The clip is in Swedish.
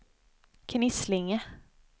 Knislinge